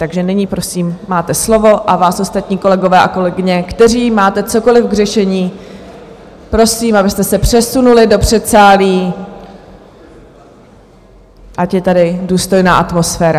Takže nyní, prosím, máte slovo, a vás ostatní, kolegové a kolegyně, kteří máte cokoliv k řešení, prosím, abyste se přesunuli do předsálí, ať je tady důstojná atmosféra.